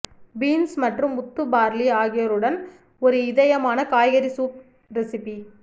beans மற்றும் முத்து barley ஆகியோருடன் ஒரு இதயமான காய்கறி சூப் ரெசிபி